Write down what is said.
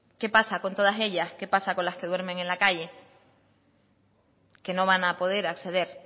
qué pasa con todas ellas qué pasa con las que duermen en la calle que no van a poder acceder